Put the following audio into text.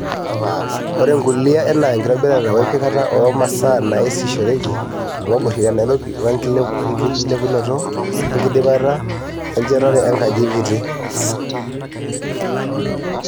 Ore ngulia enaa enkitobirata wempikata oo masaa naasishoreki toolngobori te Nairobi wenkilepunoto wenkidipata enchetare e nkaji te KITI.